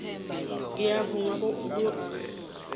ngiyavuma kobana yoke